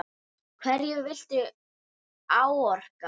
Hverju viltu áorka?